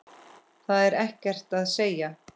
Það er ekkert að segja.